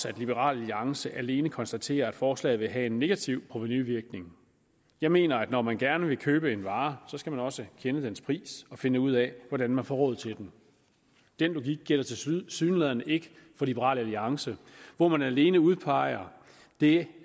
at liberal alliance alene konstaterer at forslaget vil have en negativ provenuvirkning jeg mener at når man gerne vil købe en vare skal man også kende dens pris og finde ud af hvordan man får råd til den den logik gælder tilsyneladende ikke for liberal alliance hvor man alene udpeger det